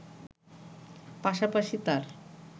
পাশাপাশি তার